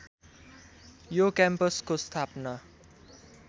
यो क्याम्पसको स्थापना